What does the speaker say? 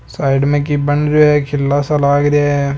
साइड में की बन रियों ये किला सा लाग रिया है।